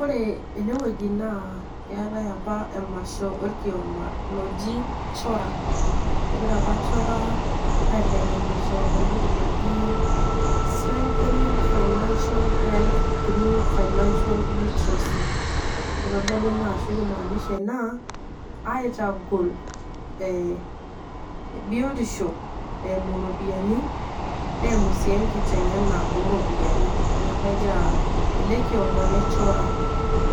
Ore ene wueji naaaa keatai opa emasho olkioma loji Chora. Egira opa Chora aiteng'enisho entoki najii strengthening financial health through financial literacy. Keitodolu naa ashu keimanisha inaa "aitagol biotisho eimu iropiani, neimu sii enkiteng'ena o iropiani", ninye opa egira ele kioma le Chora